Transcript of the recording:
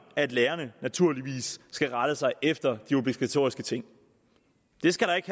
at lærerne naturligvis skal rette sig efter de obligatoriske ting det skal der ikke